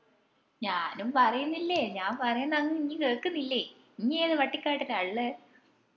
ഞാനും പറേന്നില്ലേ ഞാൻ പറേന്നെ അങ് ഇഞ് കേക്കുന്നില്ലേ ഇഞ് ഏത് പട്ടികാട്ടിലാ ഇള്ളേ